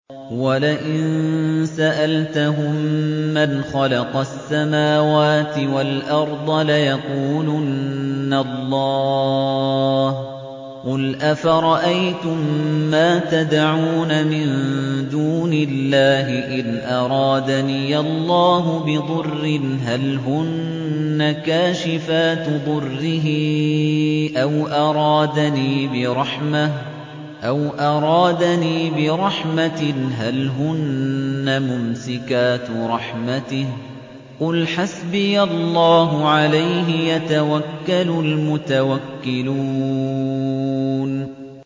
وَلَئِن سَأَلْتَهُم مَّنْ خَلَقَ السَّمَاوَاتِ وَالْأَرْضَ لَيَقُولُنَّ اللَّهُ ۚ قُلْ أَفَرَأَيْتُم مَّا تَدْعُونَ مِن دُونِ اللَّهِ إِنْ أَرَادَنِيَ اللَّهُ بِضُرٍّ هَلْ هُنَّ كَاشِفَاتُ ضُرِّهِ أَوْ أَرَادَنِي بِرَحْمَةٍ هَلْ هُنَّ مُمْسِكَاتُ رَحْمَتِهِ ۚ قُلْ حَسْبِيَ اللَّهُ ۖ عَلَيْهِ يَتَوَكَّلُ الْمُتَوَكِّلُونَ